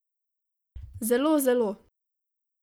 Zelo, zelo.